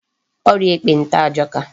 Ọrịa ekpenta ajọka.